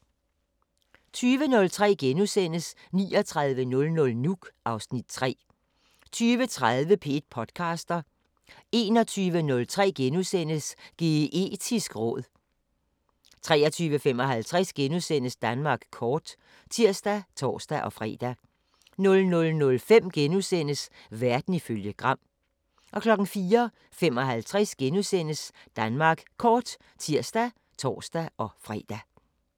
20:03: 3900 Nuuk (Afs. 3)* 20:30: P1 podcaster 21:03: Geetisk råd * 23:55: Danmark kort *(tir og tor-fre) 00:05: Verden ifølge Gram * 04:55: Danmark kort *(tir og tor-fre)